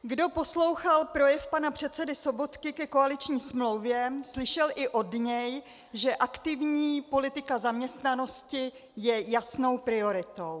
Kdo poslouchal projev pana předsedy Sobotky ke koaliční smlouvě, slyšel i od něj, že aktivní politika zaměstnanosti je jasnou prioritou.